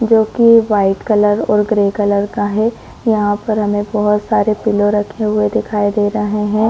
जो की white colour और ग्रे कलर का है यहाँ पर हमें बहोत सारे पीलो रखे हुए दिखाई दे रहे हैं।